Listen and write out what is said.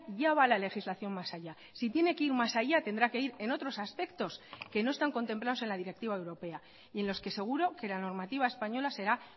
ya va la legislación más allá si tiene que ir más allá tendrá que ir en otros aspectos que no están contemplados en la directiva europea y en los que seguro que la normativa española será